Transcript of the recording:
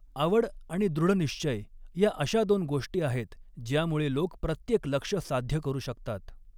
आवड आणि दृढ़निश्चय या अशा दोन गोष्टी आहेत ज्यामुळे लोक प्रत्येक लक्ष्य साध्य करू शकतात.